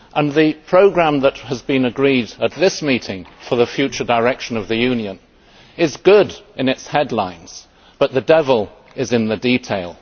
The programme that has been agreed at this meeting for the future direction of the Union is good in its headlines but the devil is in the detail.